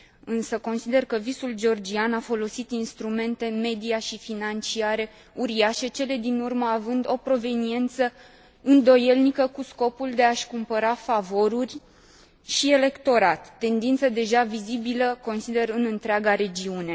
Însă consider că Visul georgian a folosit instrumente media și financiare uriașe, cele din urmă având o proveniență îndoielnică, cu scopul de a și cumpăra favoruri și electorat, tendință deja vizibilă, consider, în întreaga regiune.